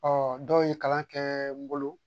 Ɔ dɔw ye kalan kɛ n bolo